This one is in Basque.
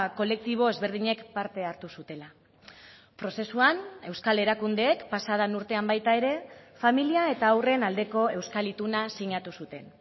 kolektibo ezberdinek parte hartu zutela prozesuan euskal erakundeek pasaden urtean baita ere familia eta haurren aldeko euskal ituna sinatu zuten